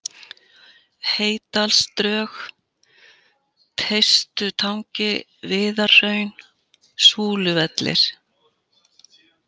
Heydalsdrög, Teistutangi, Viðarhraun, Súluvellir